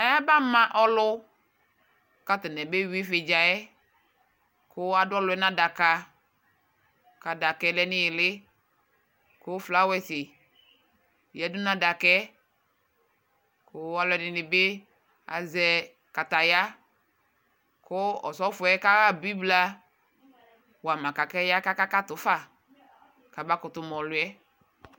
ayaba ma alʊ, kʊ atanɩ abewui yɛ, kʊ adʊ ɔlʊ yɛ nʊ adaka, kʊ adaka yɛ lɛ nʊ iili, kʊ itsu sɔlɔ yǝdʊ nʊ adaka yɛ, kʊ aluɛdɩnɩbɩ azɛ wohe, kʊ osofo yɛ kaɣa bibla wa ma kaya kakatʊ fa, kama kʊtʊ ma ɔlʊ yɛ